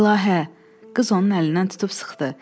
İlahə, qız onun əlindən tutub sıxdı.